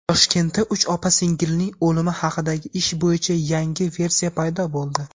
Toshkentda uch opa-singilning o‘limi haqidagi ish bo‘yicha yangi versiya paydo bo‘ldi.